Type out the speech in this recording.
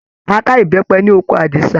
A ká ìbẹ́pẹ ní oko Àdìsá.